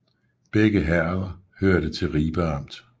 Begge herreder hørte til Ribe Amt